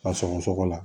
Ka sɔgɔsɔgɔ la